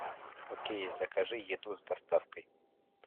окей закажи еду с доставкой